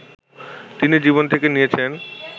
তিনি জীবন থেকে নিয়েছেন